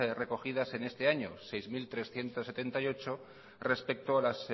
recogidas en este año seis mil trescientos setenta y ocho respecto a las